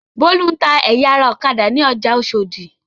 Bólú ń ẹ̀ya ara ọ̀kadà ní ọjà Oṣòdì.